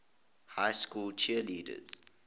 high school cheerleading